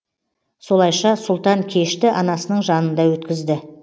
солайша сұлтан кешті анасының жанында өткізді